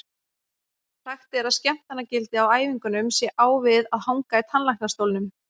Sagt er að skemmtanagildið á æfingunum sé á við að hanga í tannlæknastólnum.